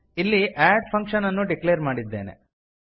ಇಲ್ಲಿ add function ಅನ್ನು declare ಮಾಡಿದ್ದೇವೆ